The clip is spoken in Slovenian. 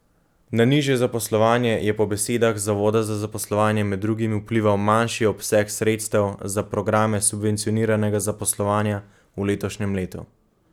Na nižje zaposlovanje je po besedah zavoda za zaposlovanje med drugim vplival manjši obseg sredstev za programe subvencioniranega zaposlovanja v letošnjem letu.